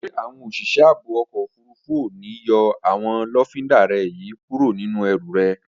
Ṣé àwọn òṣìṣẹ́ ààbò ọkọ̀ òfurufú ò ní yọ àwọn lọ́findà rẹ yí kúrò nínú ẹrù rẹ?